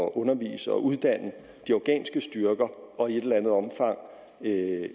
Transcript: at undervise og uddanne de afghanske styrker og i et eller andet omfang